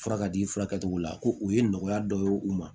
Fura ka di fura cogo la ko o ye nɔgɔya dɔ ye u ma